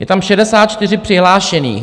Je tam 64 přihlášených.